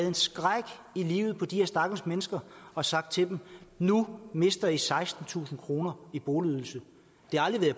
en skræk i livet på de her stakkels mennesker og sagt til dem nu mister i sekstentusind kroner i boligydelse det har aldrig